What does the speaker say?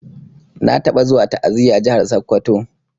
Na taba zuwa ta'aziya jahar sokoto.